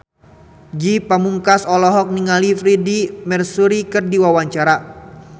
Ge Pamungkas olohok ningali Freedie Mercury keur diwawancara